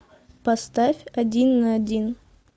поставь один на один